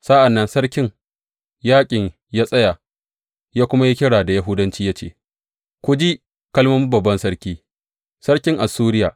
Sa’an nan sarkin yaƙin ya tsaya ya kuma yi kira da Yahudanci ya ce, Ku ji kalmomin babban sarki, sarkin Assuriya!